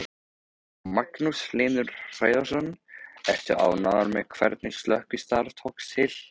Magnús Hlynur Hreiðarsson: Ertu ánægður með hvernig slökkvistarf tókst til?